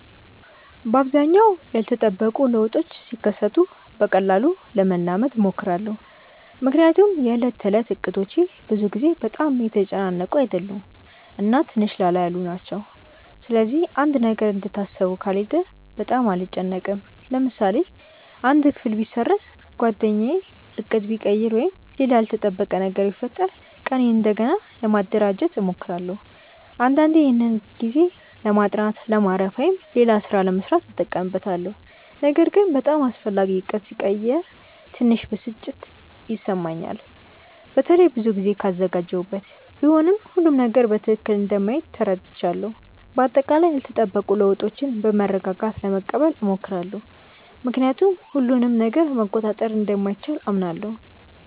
በአብዛኛው ያልተጠበቁ ለውጦች ሲከሰቱ በቀላሉ ለመላመድ እሞክራለሁ። ምክንያቱም የዕለት ተዕለት እቅዶቼ ብዙ ጊዜ በጣም የተጨናነቁ አይደሉም እና ትንሽ ላላ ያሉ ናቸው። ስለዚህ አንድ ነገር እንደታሰበው ካልሄደ በጣም አልጨነቅም። ለምሳሌ አንድ ክፍል ቢሰረዝ፣ ጓደኛ ዕቅድ ቢቀይር ወይም ሌላ ያልተጠበቀ ነገር ቢፈጠር ቀኔን እንደገና ለማደራጀት እሞክራለሁ። አንዳንዴ ይህን ጊዜ ለማጥናት፣ ለማረፍ ወይም ሌላ ሥራ ለመሥራት እጠቀምበታለሁ። ነገር ግን በጣም አስፈላጊ ዕቅድ ሲቀየር ትንሽ ብስጭት ይሰማኛል፣ በተለይ ብዙ ጊዜ ካዘጋጀሁበት። ቢሆንም ሁሉም ነገር በትክክል እንደማይሄድ ተረድቻለሁ። በአጠቃላይ ያልተጠበቁ ለውጦችን በመረጋጋት ለመቀበል እሞክራለሁ፣ ምክንያቱም ሁሉንም ነገር መቆጣጠር እንደማይቻል አምናለሁ።